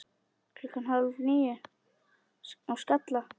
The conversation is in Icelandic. Klukkan hálf níu á Skalla!